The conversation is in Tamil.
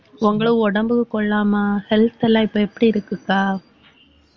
உங்களை உடம்புக்கு கொள்ளாம health எல்லாம் இப்ப எப்படி இருக்குக்கா?